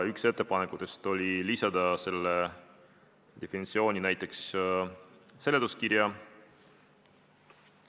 Üks ettepanekutest oli lisada see definitsioon näiteks seletuskirja.